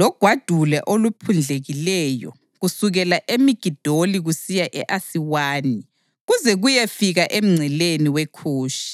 logwadule oluphundlekileyo kusukela eMigidoli kusiya e-Asiwani, kuze kuyefika emngceleni weKhushi.